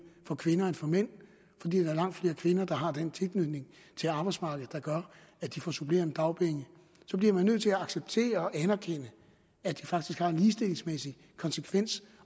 for kvinder end for mænd fordi der er langt flere kvinder der har den tilknytning til arbejdsmarkedet der gør at de får supplerende dagpenge så bliver man nødt til at acceptere og anerkende at det faktisk har en ligestillingsmæssig konsekvens